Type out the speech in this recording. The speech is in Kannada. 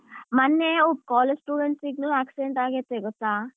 ಮನ್ನೆ college student ಗೂ accident ಆಗೈತಿ ಗೊತ್ತಾ?